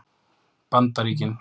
Bandaríkin